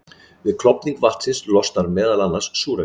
Við klofning vatnsins losnar meðal annars súrefni.